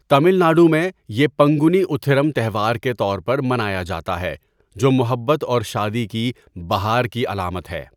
تمل ناڈو میں، یہ پنگونی اُتھیرم تہوار کے طور پر منایا جاتا ہے جو محبت اور شادی کی بَہار کی علامت ہے۔